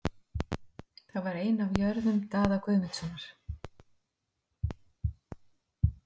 Það var ein af jörðum Daða Guðmundssonar.